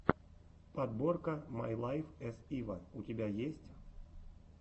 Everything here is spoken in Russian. подборка май лайф эс ива у тебя есть